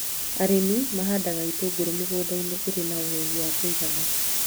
Arĩmi mahandaga itũngũrũ mĩgũnda-inĩ ĩrĩa ĩna ũhehu wa kũigana